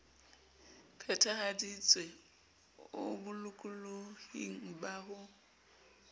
phethahaditswe o bolokolohing ba ho